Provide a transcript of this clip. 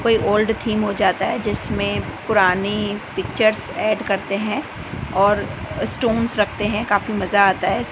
कोई old theme हो जाता है जिसमें पुरानी पिक्चर्स ऐड करते हैं और स्टोंस रखते हैं काफी मजा आता है।